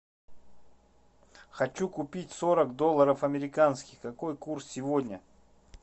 хочу купить сорок долларов американских какой курс сегодня